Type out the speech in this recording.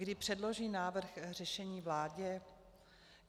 Kdy předloží návrh řešení vládě?